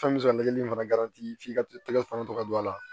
Fɛn bɛ se kali fana f'i ka tɛgɛ fana to ka don a la